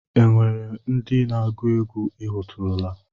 Enwere ndị na-agụ egwú I hụtụrụla?